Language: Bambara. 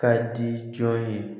Ka di jɔn ye